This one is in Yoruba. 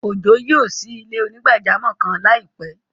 Ọjọ́ yóò ṣí ilẹ̀-onígbàjàmọ́ kan laipẹ.